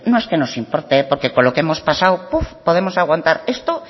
es que nos importe porque con lo que hemos pasado podemos aguantar esto